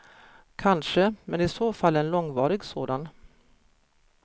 Kanske, men i så fall en långvarig sådan.